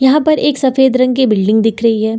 यहां पर एक सफेद रंग की बिल्डिंग दिख रही है।